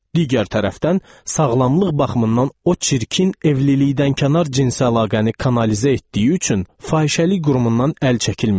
Digər tərəfdən, sağlamlıq baxımından o çirkin evlilikdən kənar cinsi əlaqəni kanalizə etdiyi üçün fahişəlik qurumundan əl çəkilmirdi.